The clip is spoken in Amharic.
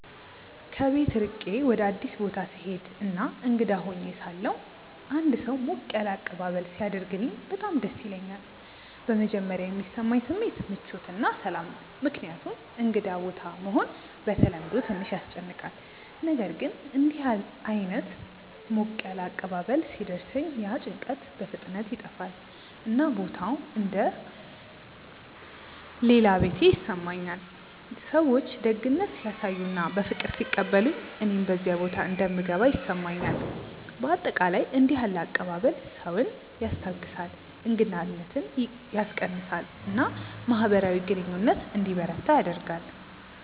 ከቤት ርቄ ወደ አዲስ ቦታ ስሄድ እና እንግዳ ሆኜ ሳለሁ አንድ ሰው ሞቅ ያለ አቀባበል ሲያደርግልኝ በጣም ደስ ይለኛል። በመጀመሪያ የሚሰማኝ ስሜት ምቾት እና ሰላም ነው፣ ምክንያቱም እንግዳ ቦታ መሆን በተለምዶ ትንሽ ያስጨንቃል። ነገር ግን እንዲህ ዓይነት ሞቅ ያለ አቀባበል ሲደርሰኝ ያ ጭንቀት በፍጥነት ይጠፋል፣ እና ቦታው እንደ “ ሌላ ቤቴ ” ይሰማኛል። ሰዎች ደግነት ሲያሳዩ እና በፍቅር ሲቀበሉኝ እኔም በዚያ ቦታ እንደምገባ ይሰማኛል። በአጠቃላይ እንዲህ ያለ አቀባበል ሰውን ያስታግሳል፣ እንግዳነትን ያስቀንሳል እና ማህበራዊ ግንኙነት እንዲበረታ ያደርጋል።